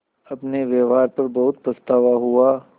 अपने व्यवहार पर बहुत पछतावा हुआ